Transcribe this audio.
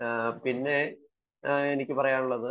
പിന്നെ എനിക്ക് പറയാനുള്ളത്